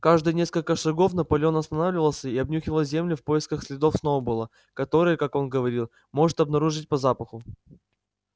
каждые несколько шагов наполеон останавливался и обнюхивал землю в поисках следов сноуболла которые как он говорил может обнаружить по запаху